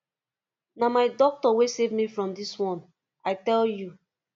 na my doctor wey save me from dis one i tell you